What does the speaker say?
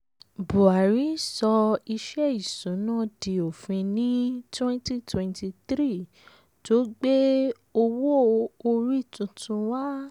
buhari sọ ìṣe isuna di òfin ní twenty twenty three tó gbé owó orí tuntun wá.